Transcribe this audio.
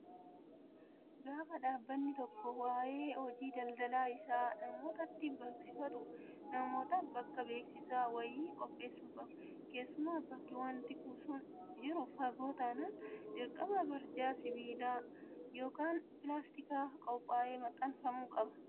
Gaafa dhaabbanni tokko waayee hojii daldalaa isaa namootatti beeksifatu namootaaf bakka beeksisaa wayii qopheessuu qaba. Keessumaa bakki wanti sun jiru fagoo taanaan dirqama barjaan sibiilaa yookaan pilaastikaa qophaa'ee maxxanfamuu qaba.